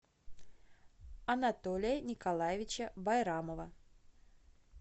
анатолия николаевича байрамова